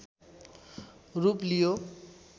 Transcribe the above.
रूप लियो